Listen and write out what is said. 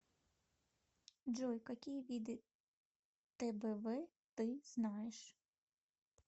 джой какие виды тбв ты знаешь